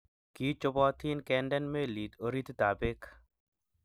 kii chobotin kendenen meli orititab beek